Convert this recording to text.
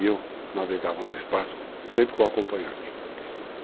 E eu navegava no espaço sempre com a acompanhante.